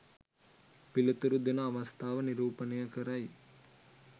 පිළිතුරු දෙන අවස්ථාව නිරූපණය කරයි.